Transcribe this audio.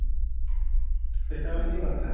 ସେଇଟା ହଉଚି କଥା